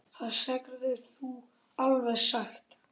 ÞAÐ SEGIRÐU ALVEG SATT.